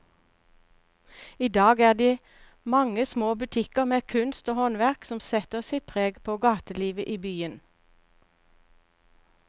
I dag er det de mange små butikkene med kunst og håndverk som setter sitt preg på gatelivet i byen.